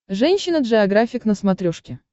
женщина джеографик на смотрешке